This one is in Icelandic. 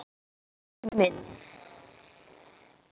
Skúli minn!